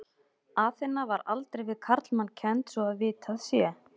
Aþena var aldrei við karlmann kennd svo að vitað sé.